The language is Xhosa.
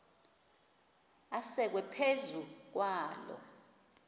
asekwe phezu kwaloo